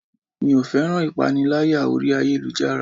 Mi ò féràn ìpaniláyà orí ayélujára.